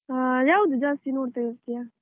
ಆ, ಯಾವ್ದು ಜಾಸ್ತಿ ನೋಡ್ತಾ ಇರ್ತೀಯಾ?